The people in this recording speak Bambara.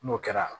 N'o kɛra